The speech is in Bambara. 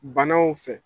Banaw fɛ